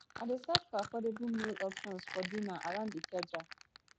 i dey search for affordable meal options for dinner around ikeja